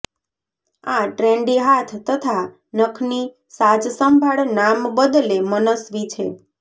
આ ટ્રેન્ડી હાથ તથા નખની સાજસંભાળ નામ બદલે મનસ્વી છે